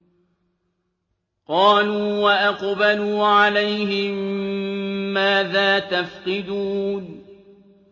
قَالُوا وَأَقْبَلُوا عَلَيْهِم مَّاذَا تَفْقِدُونَ